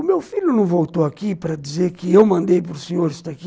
O meu filho não voltou aqui para dizer que eu mandei para o senhor estar aqui?